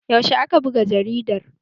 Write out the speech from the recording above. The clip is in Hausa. Yaushe aka buga jaridar?